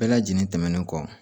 Bɛɛ lajɛlen tɛmɛnen kɔ